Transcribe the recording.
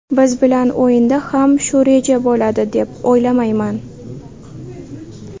Biz bilan o‘yinda ham shu reja bo‘ladi deb o‘ylamayman.